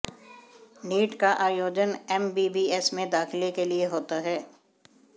NEET का आयोजन MBBS में दाखिले के लिए होता है